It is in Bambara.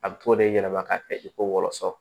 A bɛ t'o de yɛlɛma k'a kɛ i ko wɔlɔsɔ